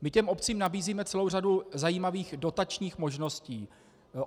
My těm obcím nabízíme celou řadu zajímavých dotačních možností.